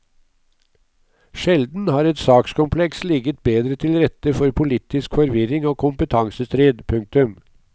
Sjelden har et sakskompleks ligget bedre til rette for politisk forvirring og kompetansestrid. punktum